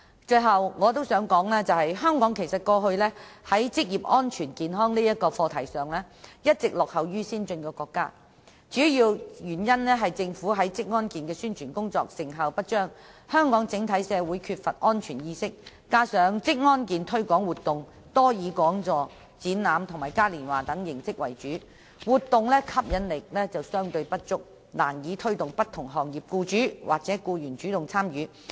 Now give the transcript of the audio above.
最後，我想指出一點，就是香港以往在職業安全健康這個課題上，一直落後於先進國家，主要原因在於政府宣傳職安健的工作成效不彰，香港整體社會缺乏職安健意識，加上職安健推廣活動多以講座、展覽和嘉年華等形式為主，活動的吸引力相對不足，難以推動不同行業的僱主或僱員主動參與。